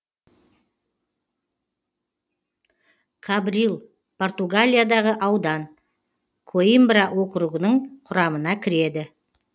кабрил португалиядағы аудан коимбра округінің құрамына кіреді